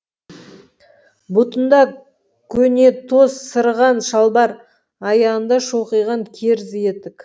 бұтында көнетоз сырыған шалбар аяғында шоқиған керзі етік